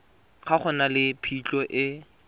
ga go na phitlho e